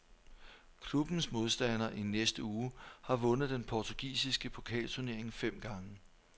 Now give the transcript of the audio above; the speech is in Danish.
Klubbens modstander i næste uge har vundet den portugisiske pokalturnering fem gange.